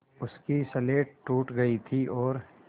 उसकी स्लेट टूट गई थी और